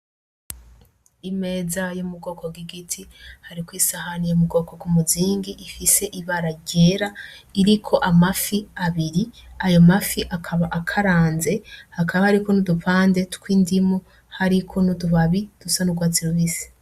Imeza yo mubwoko bw'igiti hariko isahani yo mubwoko bwumuzingi ifise ibara ryera, iriko amafi abiri ayo mafi akaba akaranze, hakaba hariko n'udupande tw'indimu hariko n'utubabi dusa n'urwatsi rubisi.